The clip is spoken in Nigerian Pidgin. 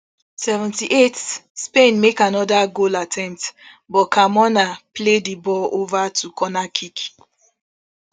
seventy-seven spain make anoda goal attempt but carmona play di ball ova to corner kick